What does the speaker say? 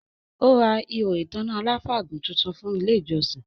Ó ra “ihò ìtanná aláfàgùn” tuntun fún ile ìjọsìn